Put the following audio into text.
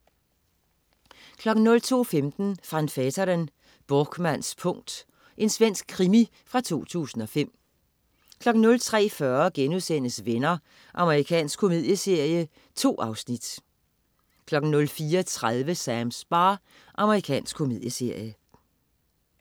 02.15 Van Veeteren: Borkmanns punkt. Svensk krimi fra 2005 03.40 Venner.* Amerikansk komedieserie. 2 afsnit 04.30 Sams bar. Amerikansk komedieserie